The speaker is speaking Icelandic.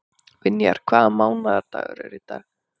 Vinjar, hvaða mánaðardagur er í dag?